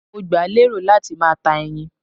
Mo gbà lérò láti máa ta ẹyin